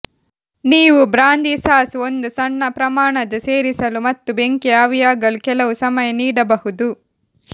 ನೀವು brandy sauce ಒಂದು ಸಣ್ಣ ಪ್ರಮಾಣದ ಸೇರಿಸಲು ಮತ್ತು ಬೆಂಕಿ ಆವಿಯಾಗಲು ಕೆಲವು ಸಮಯ ನೀಡಬಹುದು